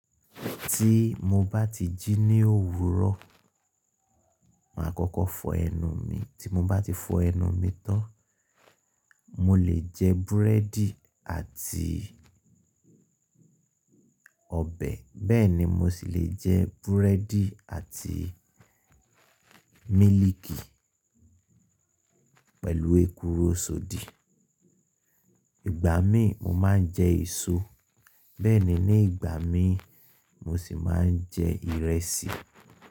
Tí mo bá ti jí ní òwúrọ̀, màá kọ́kọ́ fọ ẹnu mi, tí mo bá ti fọ ẹnu mi tán, mo lè jẹ búrẹ́dì àti ọbẹ̀, bẹ́ẹ̀ ni mo sì lè jẹ búrẹ́dì àti mílìkì pẹ̀lú èkuru sọ di. Ìgbà mí mo máa ń jẹ èso, bẹ́ẹ̀ ni ní ìgbà mí mo sì máa ń jẹ ìrẹsì.